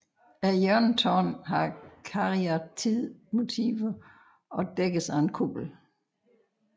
Hjørnetårnet har kariatidmotiver og dækkes af en kuppel